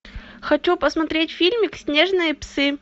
хочу посмотреть фильмик снежные псы